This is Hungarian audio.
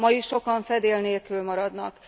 Ma is sokan fedél nélkül maradnak.